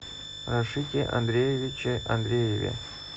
рашите андреевиче андрееве